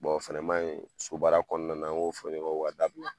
o fɛnɛ ma ɲi so baara kɔnɔna na an k'o fɔ ɲɔgɔn ye o ka dabila.